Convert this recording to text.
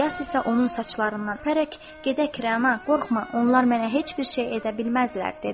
İlyas isə onun saçlarından pərək, gedək, Rəana, qorxma, onlar mənə heç bir şey edə bilməzdilər dedi.